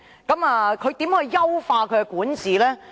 她如何優化其管治？